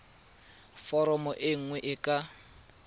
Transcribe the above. foromo e nngwe e ka